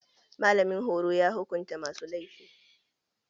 Malamin horo ya hukunta masu laifi